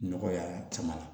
Nɔgɔya caman na